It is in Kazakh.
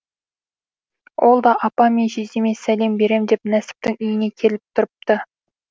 ол да апам мен жездеме сәлем берем деп нәсіптің үйіне келіп тұрыпты